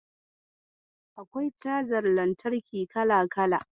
Akwai cajar lantarki kala-kala.